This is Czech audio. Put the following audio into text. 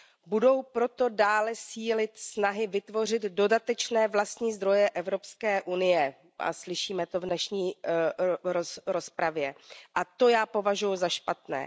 Budou proto dále sílit snahy vytvořit dodatečné vlastní zdroje Evropské unie a slyšíme to v dnešní rozpravě a to já považuji za špatné.